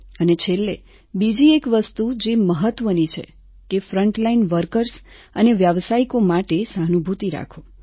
અને છેલ્લે બીજી એક વસ્તુ જે મહત્વની છે કે ફ્રન્ટલાઈન વર્કર્સ અને વ્યાવસાયિકો માટે સહાનુભૂતિ રાખો